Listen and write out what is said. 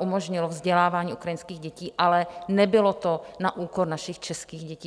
umožnilo vzdělávání ukrajinských dětí, ale nebylo to na úkor našich českých dětí.